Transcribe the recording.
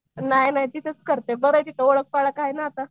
नाही नाही तिथंच करते बरंय तिथं ओळख पाळख हाय ना आता.